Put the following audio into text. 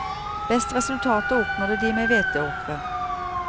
Best resultater oppnådde de med hveteåkre.